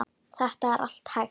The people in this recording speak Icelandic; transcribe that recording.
Þetta er allt hægt.